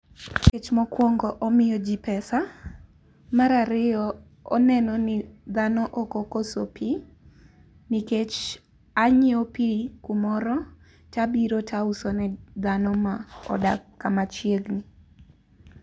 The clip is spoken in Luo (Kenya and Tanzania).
Nikech mokuongo omiyo jii pesa, mar ariyo oneno ni dhano okokoso pi, nikech anyiew pi kumoro tabiro tausone dhano ma odak kamachiegni